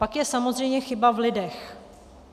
Pak je samozřejmě chyba v lidech.